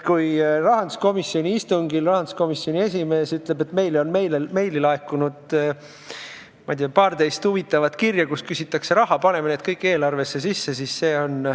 Kui rahanduskomisjoni istungil rahanduskomisjoni esimees ütleb, et meile on laekunud, ma ei tea, paarteist huvitavat meili, kus küsitakse raha, ja me paneme need kõik eelarvesse sisse.